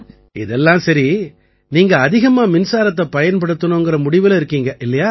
இதெல்லாம் சரி நீங்க அதிகமா மின்சாரத்தைப் பயன்படுத்திக்கணும்ங்கற முடிவுல இருக்கீங்க இல்லையா